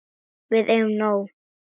Við eigum nóg.